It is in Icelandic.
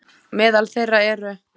Meðal þeirra eru